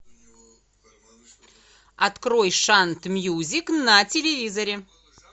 открой шант мьюзик на телевизоре